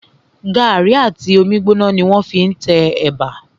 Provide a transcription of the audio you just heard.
Gàrí àti omi gbóná ni wọ́n fí n te ẹ̀bà